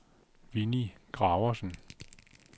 Winnie Graversen